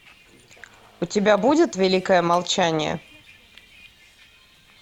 у тебя будет великое молчание